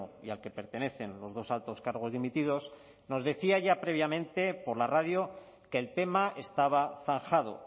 y al que pertenecen los dos altos cargos dimitidos nos decía ya previamente por la radio que el tema estaba zanjado